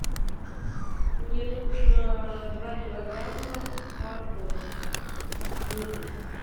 мне нужно два килограмма моркови мытой